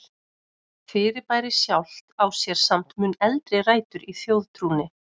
Fyrirbærið sjálft á sér samt mun eldri rætur í þjóðtrúnni.